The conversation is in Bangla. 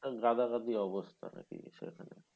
গাদাগাদি অবস্থা